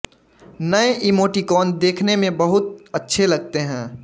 नए इमोटिकॉन देखने में बहुत अच्छे लगते हैं